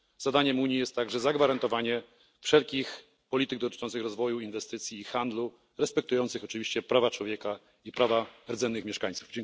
Zadaniem Unii jest także dopilnowanie, aby wszelkie strategie polityczne dotyczące rozwoju, inwestycji i handlu respektowały prawa człowieka i prawa rdzennych mieszkańców.